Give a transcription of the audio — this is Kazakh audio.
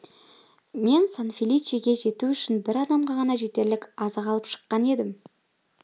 мен сан-феличеге жету үшін бір адамға ғана жетерлік азық алып шыққан едім